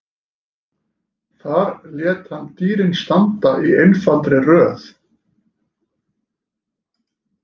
Þar lét hann dýrin standa í einfaldri röð.